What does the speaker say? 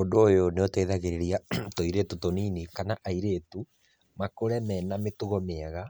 Ũndũ ũyũ nĩ ũteĩthagarĩrĩa tũirĩtu tũnini kana airĩtu, makũre mena mĩtũgo mĩega